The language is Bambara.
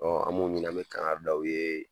an m'o ɲini an mɛ kankanri da u ye